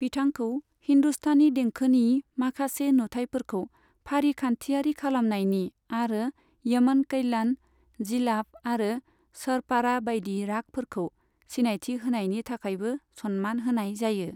बिथांखौ हिन्दुस्तानी देंखोनि माखासे नुथायफोरखौ फारिखान्थियारि खालामनायनि, आरो यमन कल्याण, जिलाफ आरो सरपाड़ा बायदि रागफोरखौ सिनायथि होनायनि थाखायबो सन्मान होनाय जायो।